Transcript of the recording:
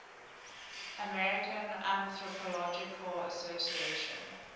american anthropological association